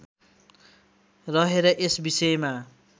रहेर यस विषयमा